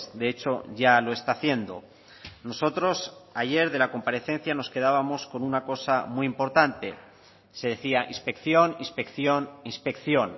de hecho ya lo está haciendo nosotros ayer de la comparecencia nos quedábamos con una cosa muy importante se decía inspección inspección inspección